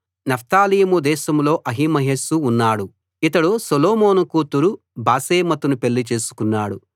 నఫ్తాలీము దేశంలో అహిమయస్సు ఉన్నాడు ఇతడు సొలొమోను కూతురు బాశెమతును పెళ్ళి చేసుకున్నాడు